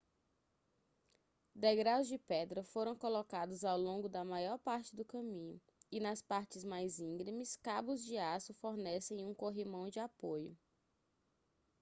degraus de pedra foram colocados ao longo da maior parte do caminho e nas partes mais íngremes cabos de aço fornecem um corrimão de apoio